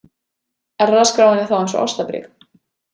Erfðaskráin er þá eins og ástarbréf.